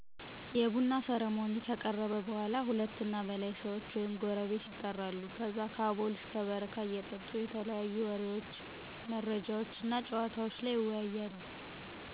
የቡና ሰርሞኒ ከቀረበ በኃላ ሁለት እና በላይ ሰዎች ወይም ጎረቤት የጠራሉ ከዛ ከአቦል እስከ በረካ እየጠጡ የተለያዩ ወሬዎች፣ መረጃዎችነ፣ ጨዋታወችን ይወያያሉ